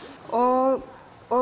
og